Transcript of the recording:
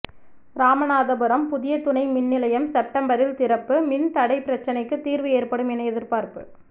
ராமநாதபுரம் புதிய துணை மின்நிலையம் செப்டம்பரில் திறப்புமின் தடை பிரச்னைக்குத் தீா்வு ஏற்படும் என எதிா்பாா்ப்பு